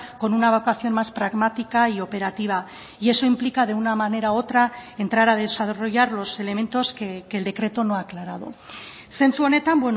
con una vocación más pragmática y operativa y eso implica de una manera u otra entrar a desarrollar los elementos que el decreto no ha aclarado sentsu honetan